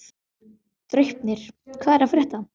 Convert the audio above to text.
Draupnir, hvað er að frétta?